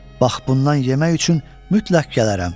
Bax bundan yemək üçün mütləq gələrəm.